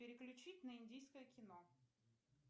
переключить на индийское кино